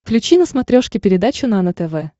включи на смотрешке передачу нано тв